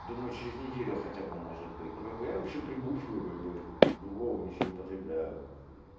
думаю через неделю хотя бы может быть ну как бы я вообще прибухиваю как бы другого ничего не употребляю